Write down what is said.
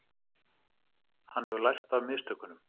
Hann hefur lært af mistökunum.